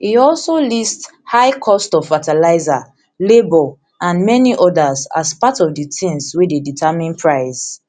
e also list high cost of fertilizer labor and many odas as part of di tins wey dey determine price